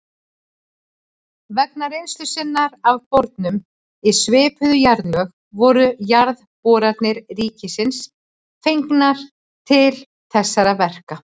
Vegna reynslu sinnar af borunum í svipuð jarðlög voru Jarðboranir ríkisins fengnar til þessara verka.